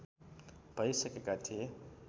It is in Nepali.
भइसकेका थिए